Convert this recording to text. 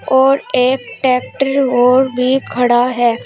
और एक ट्रैक्टर और भी खड़ा है।